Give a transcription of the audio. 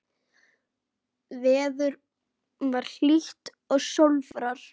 Veður var hlýtt og sólfar.